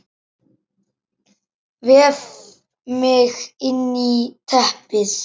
Vef mig inn í teppið.